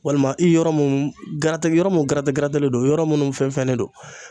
Walima i yɔrɔ mun yɔrɔ mun don yɔrɔ minnu fɛn fɛnnen don